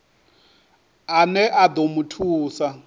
ane a ḓo mu thusa